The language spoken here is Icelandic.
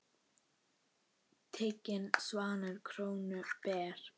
Tiginn svanni krónu ber.